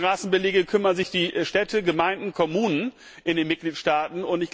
Um die Straßenbeläge kümmern sich die Städte, Gemeinden, Kommunen in den Mitgliedstaaten.